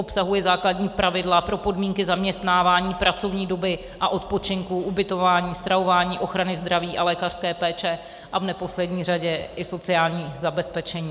Obsahuje základní pravidla pro podmínky zaměstnávání, pracovní doby a odpočinku, ubytování, stravování, ochrany zdraví a lékařské péče a v neposlední řadě i sociální zabezpečení.